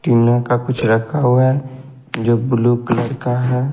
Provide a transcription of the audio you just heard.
टीने का कुछ रखा हुआ है जो ब्लू कलर का है।